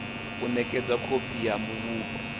u nekedzwa khophi ya muvhigo